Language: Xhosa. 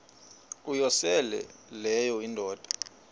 uyosele leyo indoda